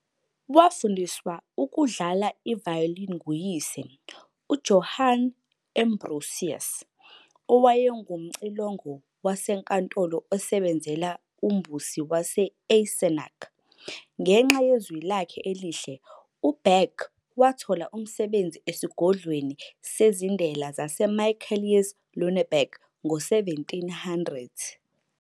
Wafundiswa ukudlala i-violin nguyise, uJohann Ambrosius, owayengumcilongo wasenkantolo osebenzela uMbusi wase-Eisenach. Ngenxa yezwi lakhe elihle, uBach wathola umsebenzi esigodlweni sezindela saseMichaelis eLüneberg ngo-1700.